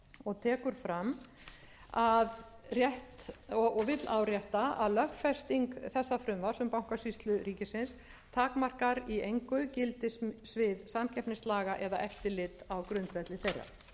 og tekur fram og vill árétta að lögfesting þessa frumvarps um bankasýslu ríkisins takmarkar í engu gildissvið samkeppnislaga og eftirlit á grundvelli þeirra ég vil víkja aðeins aftur að drögum að eigendastefnu frú forseti en þar er